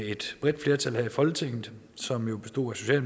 et bredt flertal her i folketinget som bestod af